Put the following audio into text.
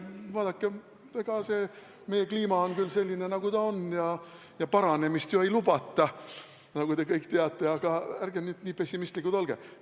Vaadake, eks see meie kliima on küll selline, nagu ta on, ja paranemist ju ei lubata, nagu te kõik teate, aga ärge nüüd nii pessimistlikud ka olge!